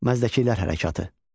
Məzdəkilər hərəkatı.